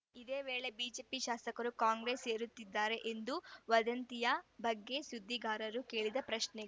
ಇದೇ ವೇಳೆ ಬಿಜೆಪಿ ಶಾಸಕರು ಕಾಂಗ್ರೆಸ್‌ ಸೇರುತ್ತಿದ್ದಾರೆ ಎಂದು ವದಂತಿಯ ಬಗ್ಗೆ ಸುದ್ದಿಗಾರರು ಕೇಳಿದ ಪ್ರಶ್ನೆಗೆ